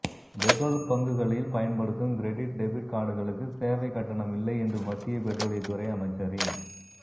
petrol பங்குகளில் பயன்படுத்தும் credit debit கார்டுகளுக்கு சேவை கட்டணம் இல்லை என்று மத்திய பெட்ரோலியத்துறை அமைச்சரின்